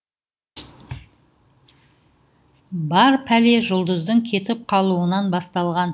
бар пәле жұлдыздың кетіп қалуынан басталған